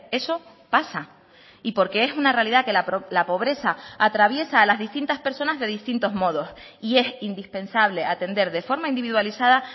eso pasa y porque es una realidad que la pobreza atraviesa a las distintas personas de distintos modos y es indispensable atender de forma individualizada